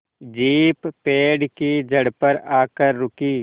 jeep पेड़ की जड़ पर आकर रुकी